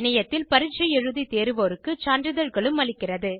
இணையத்தில் பரீட்சை எழுதி தேர்வோருக்கு சான்றிதழ்களும் அளிக்கிறது